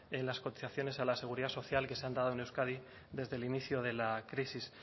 en las cotizaciones a la seguridad social que se han dado en euskadi desde el inicio de la crisis